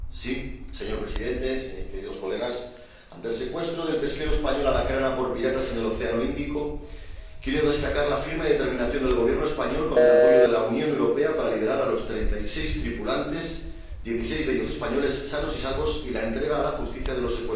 Presidente, ante el secuestro del pesquero español por piratas en el océano Índico, quiero destacar la firme determinación del Gobierno español, con el apoyo de la Unión Europea, para liberar a los treinta y seis tripulantes —dieciséis de ellos españoles— sanos y salvos, y entregar a la Justicia a los secuestradores.